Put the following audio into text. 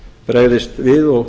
bregðist við og